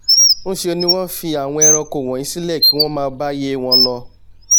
ńṣe ni wọ́n fi àwọn ẹranko wọ̀nyí sílẹ̀ kí wọ́n máa báíyé wọn lọ